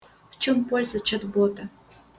в чем польза чат-бота